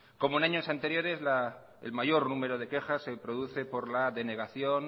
como años anteriores el mayor número de quejas se produce por la denegación